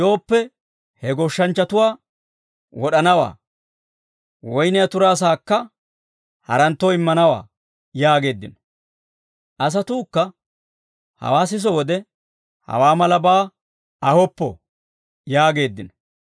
Yooppe he goshshanchchatuwaa, wod'anawaa; woyniyaa turaa sa'aakka haranttoo immanawaa» yaageeddino. Asatuukka hawaa siso wode, «Hawaa malabaa ahoppo» yaageeddino.